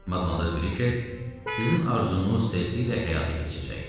Madmazer Brike, sizin arzunuz tezliklə həyata keçəcək.